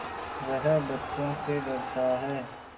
वह बच्चों से डरता है